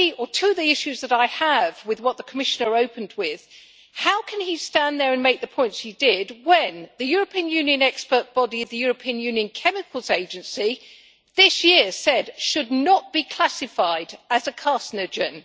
Two of the issues that I have with what the Commissioner opened with is how can he stand there and make the points he did when the European Union expert body, the European Union Chemicals Agency, this year said it should not be classified as a carcinogen